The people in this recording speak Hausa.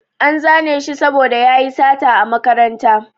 An zane shi saboda yayi sata a makaranta